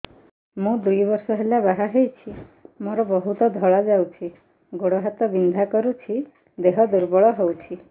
ମୁ ଦୁଇ ବର୍ଷ ହେଲା ବାହା ହେଇଛି ମୋର ବହୁତ ଧଳା ଯାଉଛି ଗୋଡ଼ ହାତ ବିନ୍ଧା କରୁଛି ଦେହ ଦୁର୍ବଳ ହଉଛି